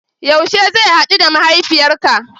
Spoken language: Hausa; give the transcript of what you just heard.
Yaushe zan hadu da mahaifiyarka?